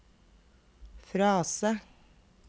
frase